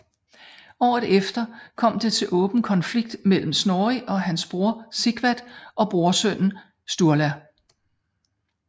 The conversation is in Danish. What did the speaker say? Året efter kom det til åben konflikt mellem Snorri og hans bror Sigvat og brorsønnen Sturla